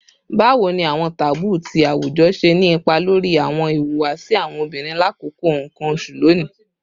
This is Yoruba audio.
Bawo ni awọn taboo ti awujọ ṣe ni ipa lori awọn ihuwasi awọn obinrin lakoko nkan oṣu loni?